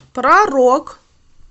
про рок